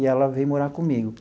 E ela veio morar comigo.